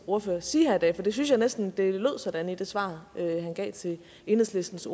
ordfører sige her i dag for jeg synes næsten det lød sådan i det svar han gav til enhedslistens